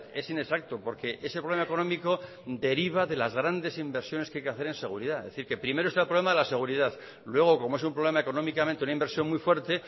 es inexacto porque ese problema económico deriva de las grandes inversiones que hay que hacer en seguridad es decir primero está el problema de la seguridad luego como es un problema económicamente una inversión muy fuerte